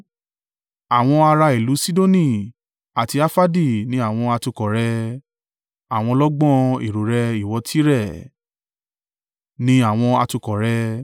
Àwọn ará ìlú Sidoni àti Arfadi ni àwọn atukọ̀ rẹ̀ àwọn ọlọ́gbọ́n ẹ̀rọ rẹ, ìwọ Tire, ni àwọn atukọ̀ rẹ.